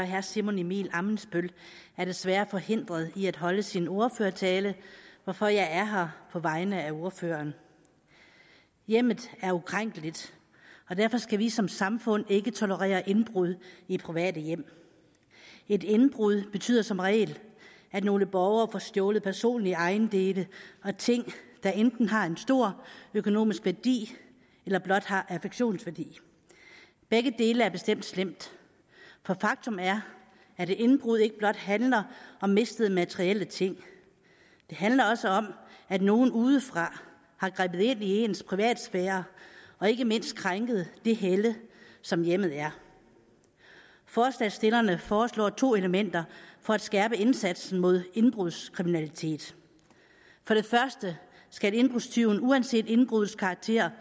herre simon emil ammitzbøll er desværre forhindret i at holde sin ordførertale hvorfor jeg er her på vegne af ordføreren hjemmet er ukrænkeligt og derfor skal vi som samfund ikke tolerere indbrud i private hjem et indbrud betyder som regel at nogle borgere får stjålet personlige ejendele og ting der enten har en stor økonomisk værdi eller blot har affektionsværdi begge dele er bestemt slemt for faktum er at et indbrud ikke blot handler om mistede materielle ting det handler også om at nogen udefra har grebet ind i ens privatsfære og ikke mindst krænket det helle som hjemmet er forslagsstillerne foreslår to elementer for at skærpe indsatsen mod indbrudskriminalitet for det første skal indbrudstyven uanset indbruddets karakter